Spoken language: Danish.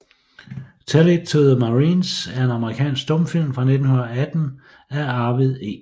Tell It to the Marines er en amerikansk stumfilm fra 1918 af Arvid E